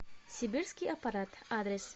сибирский аппарат адрес